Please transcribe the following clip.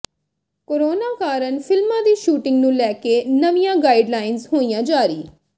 corona ਕਾਰਨ ਫਿਲਮਾਂ ਦੀ ਸ਼ੂਟਿੰਗ ਨੂੰ ਲੈ ਕੇ ਨਵੀਂਆਂ ਗਾਈਡਲਾਈਨਜ਼ ਹੋਈਆਂ ਜਾਰੀ